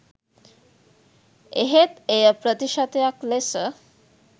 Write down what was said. එහෙත් එය ප්‍රතිශතයක් ලෙස